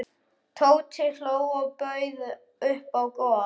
Tóti hló og bauð upp á gos.